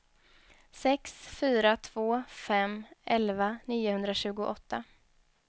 sex fyra två fem elva niohundratjugoåtta